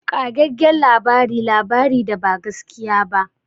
Ƙagaggen labari labari da ba gaskiya ba.